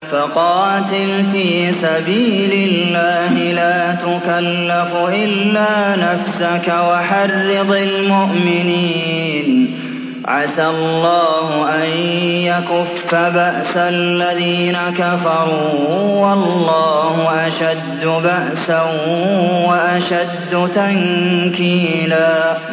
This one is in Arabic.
فَقَاتِلْ فِي سَبِيلِ اللَّهِ لَا تُكَلَّفُ إِلَّا نَفْسَكَ ۚ وَحَرِّضِ الْمُؤْمِنِينَ ۖ عَسَى اللَّهُ أَن يَكُفَّ بَأْسَ الَّذِينَ كَفَرُوا ۚ وَاللَّهُ أَشَدُّ بَأْسًا وَأَشَدُّ تَنكِيلًا